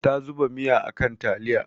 Ta zuba miya a kan taliya.